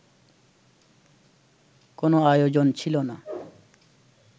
কোনো আয়োজন ছিল না